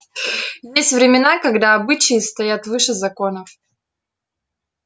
есть времена когда обычаи стоят выше законов